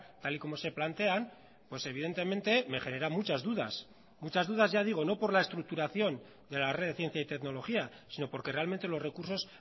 tal y como se plantean pues evidentemente me genera muchas dudas muchas dudas ya digo no por la estructuración de la red de ciencia y tecnología sino porque realmente los recursos